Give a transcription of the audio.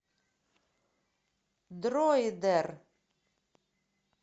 дроидер